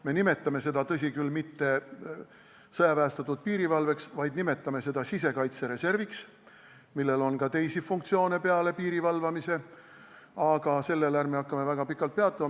Me ei nimeta seda, tõsi küll, mitte sõjaväestatud piirivalveks, vaid nimetame seda sisekaitsereserviks, millel on ka teisi funktsioone peale piiri valvamise, aga sellel ärme väga pikalt peatu.